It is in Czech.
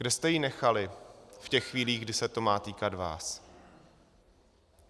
Kde jste ji nechali v těch chvílích, kdy se to má týkat vás?